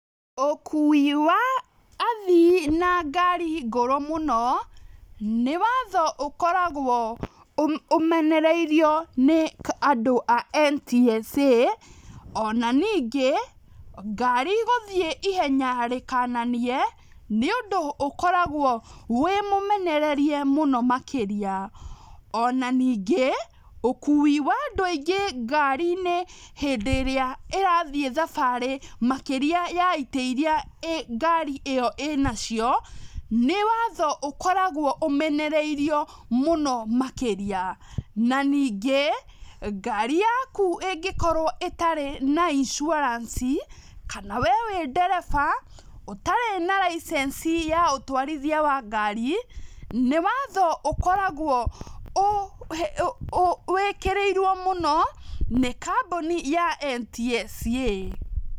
Ũkui wa athii na ngari ngũrũ mũno nĩ watho ũkoragwo ũmenereirio nĩ andũ a NTSA, ona ningĩ ngari gũthĩĩ ihenya rĩkananie nĩũndũ ũkoragwo wĩ mũmenererie mũno makĩria, ona ningĩ ũkui wa andu aingĩ ngarĩ-inĩ hindĩ ĩrĩa ĩrathii thabarĩ makĩria ya itĩ iria ngari ĩyo ĩna cio, nĩ watho ũkoragwo ũmenereirio mũno makĩria, na ningĩ ngari yaku ĩngĩkorwo ĩtarĩ na insurance, kana we wĩ ndereba ũtarĩ na license ya ũtwarithia wa ngari, nĩ watho ũkoragwo wĩkĩrĩirwo mũno nĩ kambuni ya NTSA.